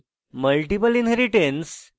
multiple inheritance এবং